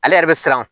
Ale yɛrɛ bɛ siran o